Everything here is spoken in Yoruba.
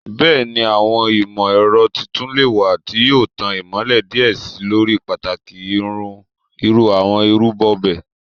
Bẹẹni, awọn imọ-ẹrọ titun le wa ti yoo tan imọlẹ diẹ sii lori pataki iru awọn irubo bẹẹ